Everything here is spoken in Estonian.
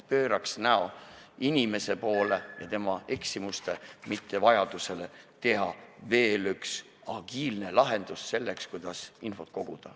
Pööraks näo inimese poole ja tema eksimuste poole, mitte vajaduse poole teha veel üks agiilne lahendus selleks, kuidas infot koguda.